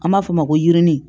An b'a fɔ o ma ko yirini